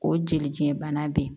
O jelidiɲɛ bana be yen